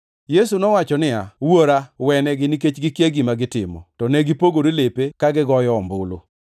Yesu nowacho niya, “Wuora, wenegi, nikech gikia gima gitimo!” To ne gipogore lepe ka gigoyo ombulu.